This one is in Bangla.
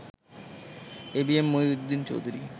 এবিএম মহিউদ্দিন চৌধুরী